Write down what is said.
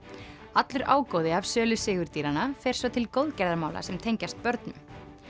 allur ágóði af sölu fer svo til góðgerðarmála sem tengjast börnum